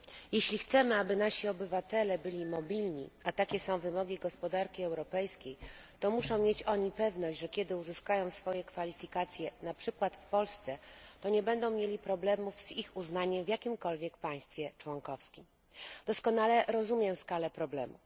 Jeśli chcemy, aby nasi obywatele byli mobilni a takie są wymogi gospodarki europejskiej to muszą mieć oni pewność, że kiedy uzyskają swoje kwalifikacje na przykład w Polsce, to nie będą mieli problemów z ich uznaniem w jakimkolwiek państwie członkowskim. Doskonale rozumiem skalę problemu.